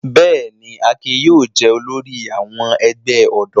Bẹ́ẹ̀ ni, Akin yóò jẹ olórí àwọn ẹgbẹ́ ọ̀dọ́.